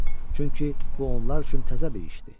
Çünki bu onlar üçün təzə bir işdir.